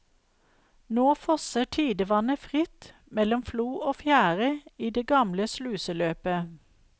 Nå fosser tidevannet fritt mellom flo og fjære i det gamle sluseløpet.